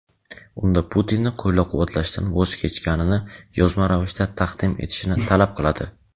unda Putinni qo‘llab-quvvatlashdan voz kechganini yozma ravishda taqdim etishini talab qiladi.